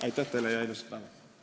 Aitäh teile ja ilusat päeva!